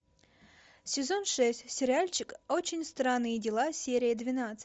сезон шесть сериальчик очень странные дела серия двенадцать